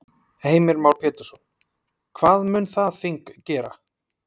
Heimir Már Pétursson: Hvað mun það þing gera?